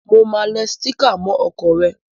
Mo máa le sticker mó okò re